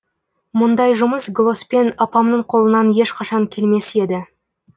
мұндай жұмыс глоспен апамның қолынан ешқашан келмес еді